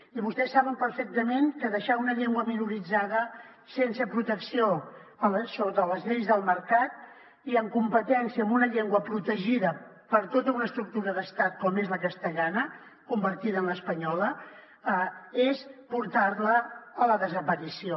i vostès saben perfectament que deixar una llengua minoritzada sense protecció sota les lleis del mercat i en competència amb una llengua protegida per tota una estructura d’estat com és la castellana convertida en l’espanyola és portar la a la desaparició